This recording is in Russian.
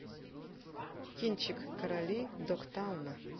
кинчик короли догтауна